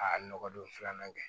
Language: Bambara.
A nɔgɔ don filanan kɛ